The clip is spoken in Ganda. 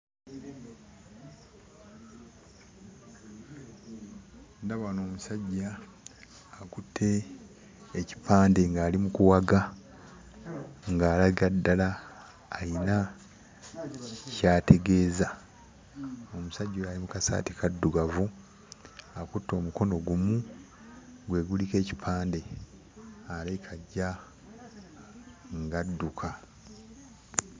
Ndaba wano omusajja akutte ekipande ng'ali mu kuwaga, ng'alaga ddala ayina ky'ategeeza. Omusajja oyo ali mu kasaati kaddugavu, akutte omukono gumu, gwe guliko ekipande, alabika ajja ng'adduka.